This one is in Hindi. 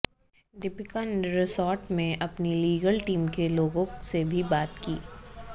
दीपिका ने रिसॉर्ट में अपनी लीगल टीम के लोगों से भी बात की